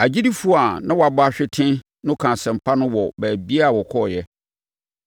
Agyidifoɔ a na wɔabɔ ahwete no kaa asɛmpa no wɔ baabiara a wɔkɔeɛ.